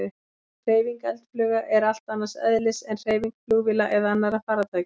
Hreyfing eldflauga er allt annars eðlis en hreyfing flugvéla eða annarra farartækja.